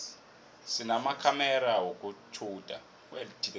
sinamakhamera wokutjhuda